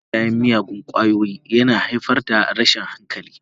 Shaye-shayen miyagun ƙwayoyi yana haifar da rashin hankali.